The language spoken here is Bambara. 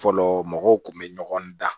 Fɔlɔ mɔgɔw kun bɛ ɲɔgɔn dan